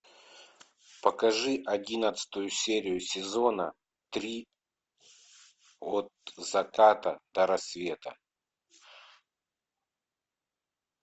покажи одиннадцатую серию сезона три от заката до рассвета